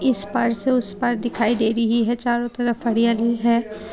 इस पार से उस पार दिखाई दे रही है चारों तरफ हरियाली है।